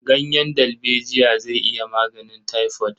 Ganyen dalbejiya zai iya maganin taifod.